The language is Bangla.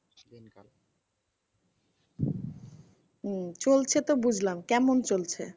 হম চলছে তো বুঝলাম কেমন চলছে?